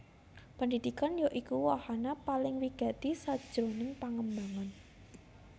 Pendhidhikan ya iku wahana paling wigati sajroning pangembangan